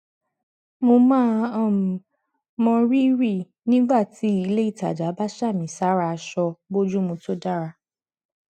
mo máa um mọ rírì nígbà tí ilé ìtajà bá sàmì sára aṣọ bójúmu tó dára